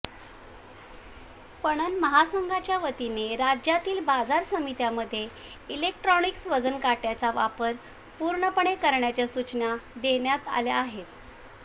पणन महासंघाच्या वतीने राज्यातील बाजार समित्यांमध्ये इलेक्ट्रॉनिक्स वजनकाटय़ाचा वापर पूर्णपणे करण्याच्या सूचना देण्यात आल्या आहेत